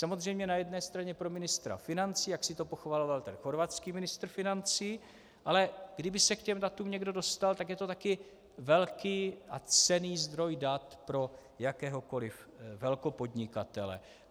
Samozřejmě na jedné straně pro ministra financí, jak si to pochvaloval ten chorvatský ministr financí, ale kdyby se k těm datům někdo dostal, tak je to také velký a cenný zdroj dat pro jakéhokoliv velkopodnikatele.